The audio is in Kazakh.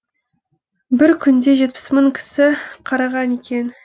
бір күнде жетпіс мың кісі қараған екен